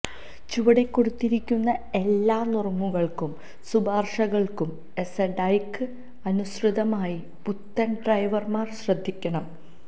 ചുവടെ കൊടുത്തിരിക്കുന്ന എല്ലാ നുറുങ്ങുകൾക്കും ശുപാർശകൾക്കും എസ്എഡായ്ക്ക് അനുസൃതമായി പുത്തൻ ഡ്രൈവർമാർ ശ്രദ്ധിക്കണം